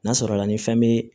N'a sɔrɔla ni fɛn bɛ